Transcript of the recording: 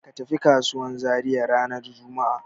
Ka tafi kasuwan Zariya ranar juma'a.